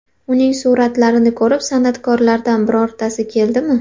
Uning suratlarini ko‘rib, san’atkorlardan birortasi keldimi?